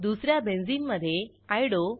दुस या बेंझिनमधे आयओडीओ